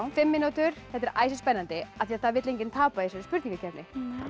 fimm mínútur þetta er æsispennandi af því það vill enginn tapa í þessari spurningakeppni